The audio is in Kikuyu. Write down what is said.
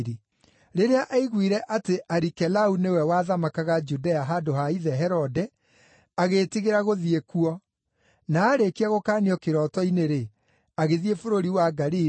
Rĩrĩa aiguire atĩ Arikelau nĩwe wathamakaga Judea handũ ha ithe Herode, agĩĩtigĩra gũthiĩ kuo. Na aarĩkia gũkaanio kĩroto-inĩ-rĩ, agĩthiĩ bũrũri wa Galili,